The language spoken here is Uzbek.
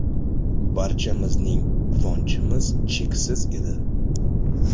Barchamizning quvonchimiz cheksiz edi!